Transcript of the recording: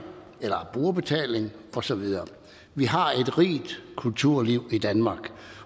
eller som brugerbetaling og så videre vi har et rigt kulturliv i danmark